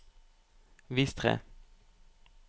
vis tre